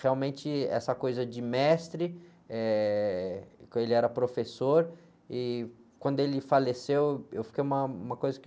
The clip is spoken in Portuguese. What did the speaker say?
Realmente, essa coisa de mestre, eh, que ele era professor, e quando ele faleceu, eu fiquei uma, uma coisa que...